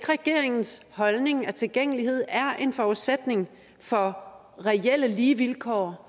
regeringens holdning at tilgængelighed er en forudsætning for reelle lige vilkår